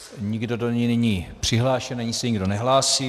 Nikdo do ní není přihlášen ani se nikdo nehlásí.